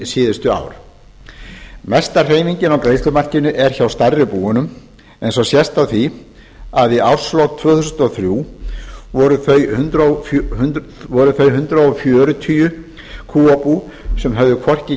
hin síðustu ár mesta hreyfingin á greiðslumarkinu er hjá stærri búunum eins og sést á því að í árslok tvö þúsund og þrjú voru þau hundrað fjörutíu kúabú sem höfðu hvorki